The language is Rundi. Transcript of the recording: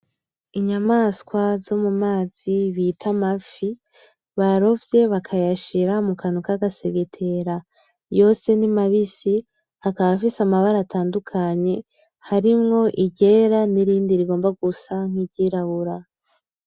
Inyamaswa zo mumazi bita amafi, barovye bakayashira mu kantu k’agasegetera yose ni mabisi, akaba afise amabara atandukanye harimwo iryera n’irindi rigomba gusa nk’iryirabura.